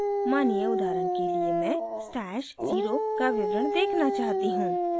मानिए उदाहरण के लिए मैं stash @{0} का विवरण देखना चाहती हूँ